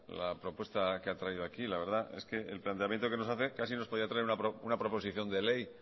la propuesta que ha traído aquí la verdad que el planteamiento que nos hace casi nos podría traer una proposición de ley